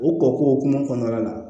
O kɔkɔ hukumu kɔnɔna na